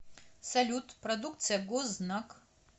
салют продукция гознак